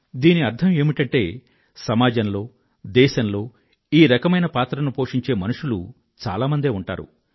దీని అర్థం ఏమిటంటే సమాజంలో దేశంలో ఈ రకమైన పాత్రను పోషించే మనుషులు చాలా మందే ఉంటారు